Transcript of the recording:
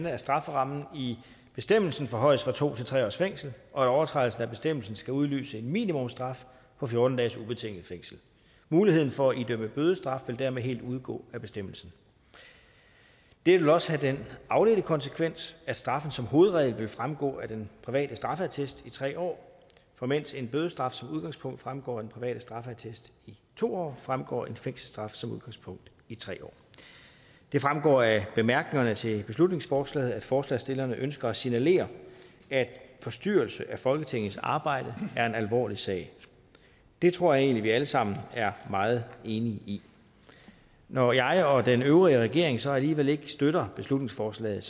at strafferammen i bestemmelsen forhøjes fra to til tre års fængsel og at overtrædelse af bestemmelsen skal udløse en minimumsstraf på fjorten dages ubetinget fængsel muligheden for at idømme bødestraf vil dermed helt udgå af bestemmelsen det vil også have den afledte konsekvens at straffen som hovedregel vil fremgå af den private straffeattest i tre år for mens en bødestraf som udgangspunkt fremgår af den private straffeattest i to år fremgår en fængselsstraf som udgangspunkt i tre år det fremgår af bemærkningerne til beslutningsforslaget at forslagsstillerne ønsker at signalere at forstyrrelse af folketingets arbejde er en alvorlig sag det tror jeg egentlig vi alle sammen er meget enige i når jeg og den øvrige regering så alligevel ikke støtter beslutningsforslaget